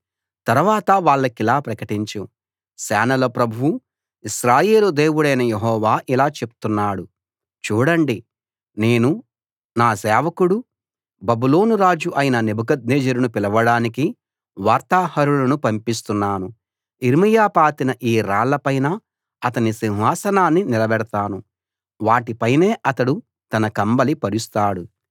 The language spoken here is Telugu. తర్వాత వాళ్లకిలా ప్రకటించు సేనల ప్రభువూ ఇశ్రాయేలు దేవుడైన యెహోవా ఇలా చెప్తున్నాడు చూడండి నేను నా సేవకుడూ బబులోను రాజూ అయిన నెబుకద్నెజరును పిలవడానికి వార్తాహరులను పంపిస్తున్నాను యిర్మీయా పాతిన ఈ రాళ్ళ పైన అతని సింహాసనాన్ని నిలబెడతాను వాటిపైనే అతడు తన కంబళి పరుస్తాడు